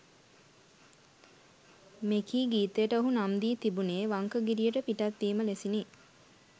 මෙකී ගීතයට ඔහු නම් දී තිබුණේ වංකගිරියට පිටත් වීම ලෙසිනි.